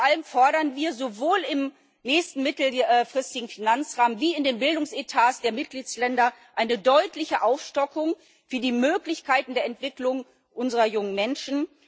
Vor allem fordern wir sowohl im nächsten mittelfristigen Finanzrahmen wie in den Bildungsetats der Mitgliedstaaten eine deutliche Aufstockung für die Möglichkeiten der Entwicklung unserer jungen Menschen.